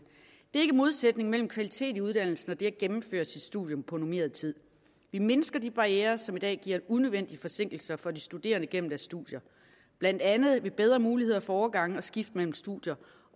ikke modsætning mellem kvalitet i uddannelsen og det at gennemføre et studium på normeret tid vi mindsker de barrierer som i dag giver unødvendige forsinkelser for de studerende gennem deres studier blandt andet ved bedre muligheder for overgange og skift mellem studier